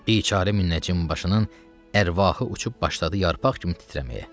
Bicarə münəccim başının ərvahı uçub başladı yarpaq kimi titrəməyə.